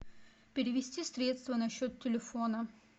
перевести средства на счет телефона